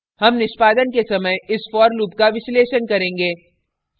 हम निष्पादन के समय इस for loop का विश्लेषण करेंगे